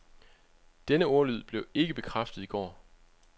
Denne ordlyd blev ikke bekræftet i går.